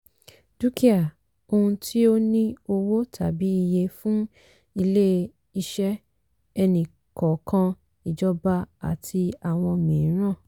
dúkìá - ohun tí ó ní owó tàbí iye fún ilé-iṣẹ́ ẹni-kọ̀ọ̀kan ìjọba àti àwọn mìíràn.